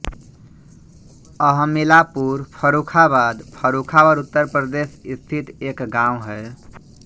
अहमिलापुर फर्रुखाबाद फर्रुखाबाद उत्तर प्रदेश स्थित एक गाँव है